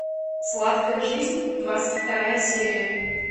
сладкая жизнь двадцать вторая серия